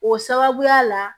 O sababuya la